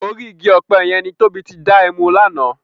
Órì igi òpè yèn ni Tobi ti dá èmú làná